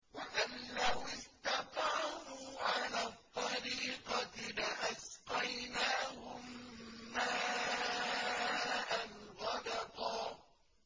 وَأَن لَّوِ اسْتَقَامُوا عَلَى الطَّرِيقَةِ لَأَسْقَيْنَاهُم مَّاءً غَدَقًا